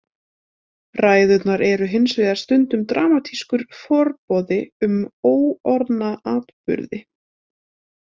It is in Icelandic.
Ræðurnar eru hins vegar stundum dramatískur forboði um óorðna atburði.